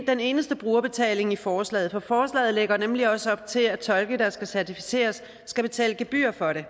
den eneste brugerbetaling i forslaget for forslaget lægger nemlig også op til at tolke der skal certificeres skal betale gebyr for det